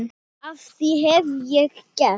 hvað hef ég gert?